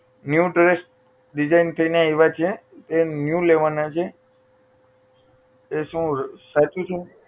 new dress design થઇને આવેલા છે એ new લેવાના છે એ શું સાચું છે